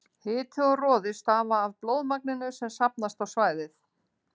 Hiti og roði stafa af blóðmagninu sem safnast á svæðið.